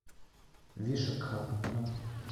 вишакхапатнам